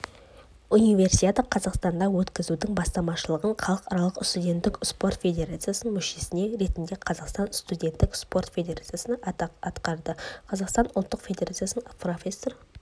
универсиаданы қазақстанда өткізудің бастамашылығын халықаралық студенттік спорт федерациясының мүшесі ретінде қазақстан студенттік спорт федерациясы атқарды қазақстан ұлттық федерациясын профессор